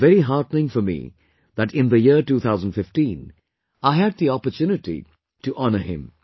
It is very heartening for me that in the year 2015 I had the opportunity to honour him